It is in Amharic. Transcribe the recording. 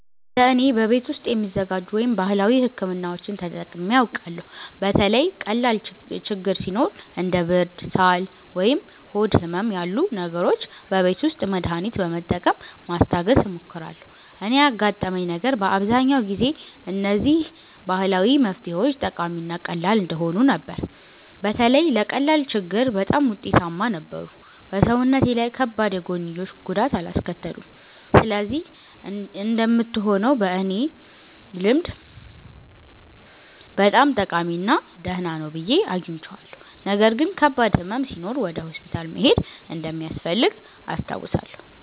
እንደ እኔ፣ በቤት ውስጥ የሚዘጋጁ ወይም ባህላዊ ሕክምናዎችን ተጠቅሜ አውቃለሁ። በተለይ ቀላል ችግኝ ሲኖር እንደ ብርድ፣ ሳል ወይም ሆድ ህመም ያሉ ነገሮች በቤት ውስጥ መድሃኒት በመጠቀም ማስታገስ እሞክራለሁ። እኔ ያጋጠመኝ ነገር በአብዛኛው ጊዜ እነዚህ ባህላዊ መፍትሄዎች ጠቃሚ እና ቀላል እንደሆኑ ነበር። በተለይ ለቀላል ችግኝ በጣም ውጤታማ ነበሩ እና በሰውነቴ ላይ ከባድ የጎንዮሽ ጉዳት አላስከተሉም። ስለዚህ እንደምትሆነው በእኔ ልምድ በጣም ጠቃሚ እና ደህና ነው ብዬ አግኝቼዋለሁ። ነገር ግን ከባድ ሕመም ሲኖር ወደ ሆስፒታል መሄድ እንደሚያስፈልግ አስታውሳለሁ።